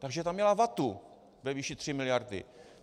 Takže tam měla vatu ve výši 3 miliard.